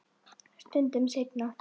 Stundum seinna.